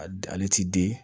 A ale ti den